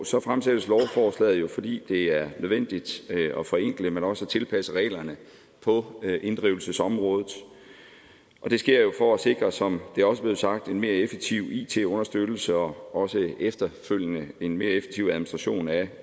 så fremsættes lovforslaget jo fordi det er nødvendigt at forenkle men også at tilpasse reglerne på inddrivelsesområdet det sker jo for at sikre som det også er blevet sagt en mere effektiv it understøttelse og også efterfølgende en mere effektiv administration af